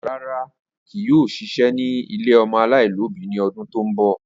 Rara, kii yoo ṣiṣẹ ni ile ọmọ alaialobi ni ọdun to nbọ.